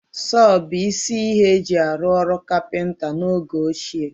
Sọọ bụ isi ihe e ji arụ ọrụ kapịnta n'oge ochie